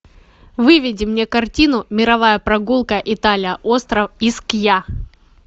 выведи мне картину мировая прогулка италия остров искья